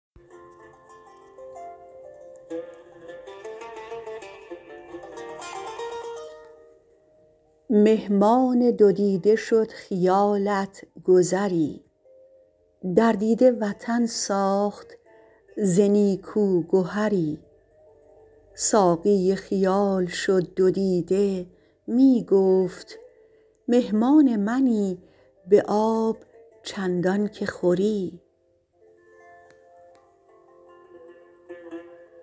مهمان دو دیده شد خیالت گذری در دیده وطن ساخت ز نیکو گهری ساقی خیال شد دو دیده میگفت مهمان منی به آب چندان که خوری